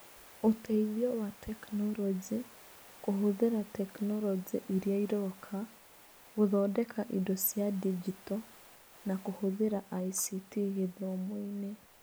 Ũteithio wa tekinoronjĩ, kũhũthĩra tekinoronjĩ iria iroka, gũthondeka indo cia digito na kũhũthĩra ICT gĩthomo-inĩ